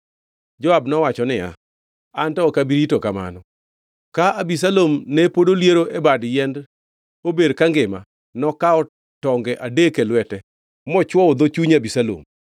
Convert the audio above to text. Joab nowacho niya, “Anto ok abi rito kamano.” Ka Abisalom ne pod oliero e bad yiend ober kangima, nokawo tonge adek e lwete mochwoyo dho chuny Abisalom.